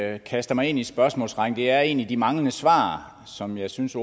at jeg kaster mig ind i spørgsmålsrækken er egentlig de manglende svar som jeg synes